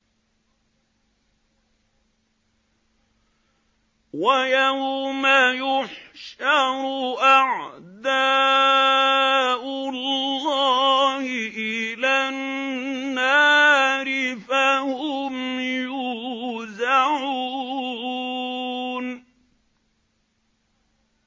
وَيَوْمَ يُحْشَرُ أَعْدَاءُ اللَّهِ إِلَى النَّارِ فَهُمْ يُوزَعُونَ